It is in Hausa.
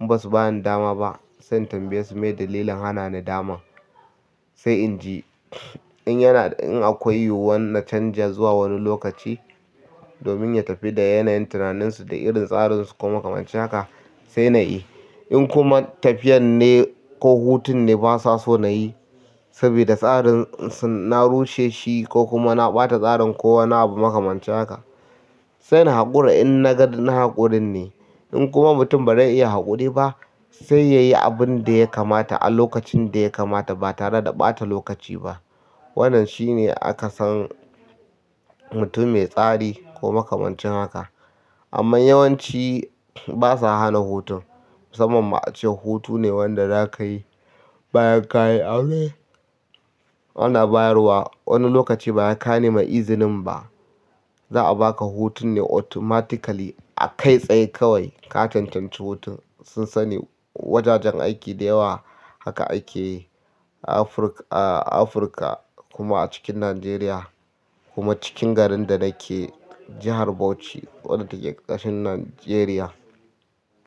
In ba su bani dama ba sai tambaye su me dalilin hana ni daman sai in ji. In yana, in akwai yiwuwar na canja zuwa wani lokaci domin ya tafi da yanayin tunaninsu da irin tsarin su kuma kamar cewa haka sai na yi. In kuma tafiyan ne ko hutun ne basa so na yi saboda tsarin su na rushe shi ko kuma na ɓata tsarin ko wane abu makamancin haka, sai na haƙura in na ga na haƙurin ne. In kuma mutum ba zai iya haƙuri ba sai ya yi abin da ya kamata a lokacin da ya kamata ba tare da ɓata lokaci ba. Wannan shi ne aka san mutum mai tsari ko makamancin haka. Amma yawanci basa hana hutun musamman ma ace hutune wanda za ka yi bayan ka yi aure. Ana bayarwa wani lokaci ba ya ka neman izinin ba. Za a baka hutun ne automatically a kai tsaye kawai ka cancanci hutun. Sun sani wajajen aiki da yawa haka ake yi a Afirka, a Afirka kuma a cikin Nijeriya kuma cikin garin da nake jihar Bauchi wadda take ƙasar Nijeriya.